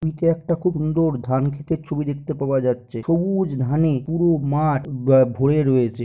এইটা একটা খুব সুন্দর ধান ক্ষেতের ছবি দেখতে পাওয়া যাচ্ছে। সবুজ ধানে পুরো মাঠ ভোরে রয়েছে।